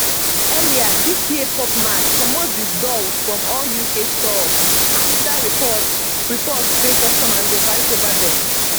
earlier dis yearpop mart comot di dolls from all uk storesafter reports reports say customers dey fight over dem